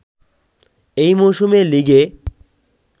এই মৌসুমে লিগে